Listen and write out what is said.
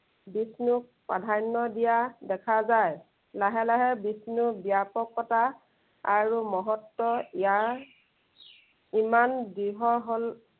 বিষ্ণুক প্ৰাধান্য় দিয়া দেখা যায়। লাহে লাহে বিষ্ণুৰ ব্য়াপকতা আৰু মহত্ব ইমাৰ ইমান দৃঢ় হল